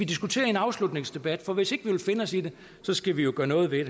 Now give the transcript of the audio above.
diskutere i en afslutningsdebat for hvis ikke vi vil finde os i det så skal vi jo gøre noget ved